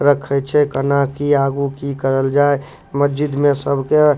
रखइ छे कना की आगू की करल जाय मस्जिद में सब के --